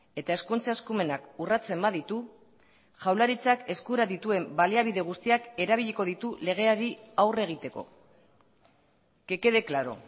eta hezkuntza eskumenak urratzen baditu jaurlaritzak eskura dituen baliabide guztiak erabiliko ditu legeari aurre egiteko que quede claro